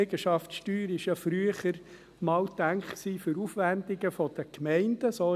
Die Liegenschaftssteuer war früher einmal für die Aufwendungen der Gemeinden gedacht;